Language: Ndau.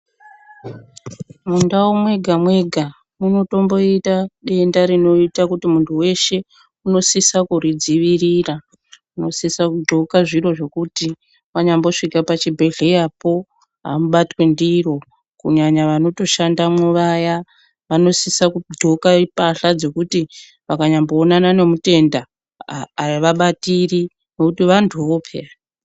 Mundau mwega mwega munotomboite denda rinoite kuti munhu weshe unosise kuridzivirira. Unosise kugloka zviro zvekuti wanyambosvike pachibhedhlerapo amubatwi ndiro kunyanya vanotoshandamwo vaya vanosise kugloka mbahla dzekuti chero vakanyamboonana nemutenda avabatiri ngekuti vanhuwo peyani.